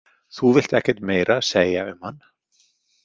Þú vilt ekkert meira segja um hann.